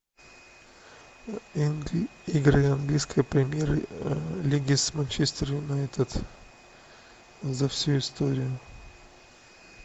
игры английской премьер лиги с манчестер юнайтед за всю историю